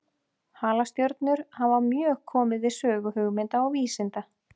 Halastjörnur hafa mjög komið við sögu hugmynda og vísinda.